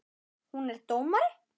Hún er dómari.